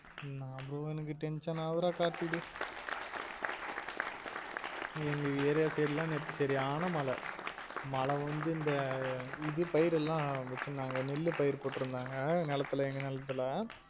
உம் அதுவும் எனக்கு tension ஆவுற கார்த்தி டேயி எங்க area side லாம் நேத்து சரியான மழ மழ வந்து இந்த இது பயிர் எல்லாம் வச்சிருந்தாங்க நெல்லுபயிறு போட்டுருந்தாங்க நெலத்துல எங்க நெலத்துல